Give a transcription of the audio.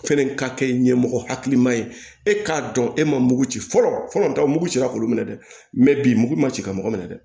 Fɛnɛ ka kɛ ɲɛmɔgɔ hakilima ye e k'a dɔn e ma mugu ci fɔlɔ fɔlɔ ta mugu cira k'olu minɛ dɛ mɛ bi mugu ma ci ka mɔgɔ minɛ dɛ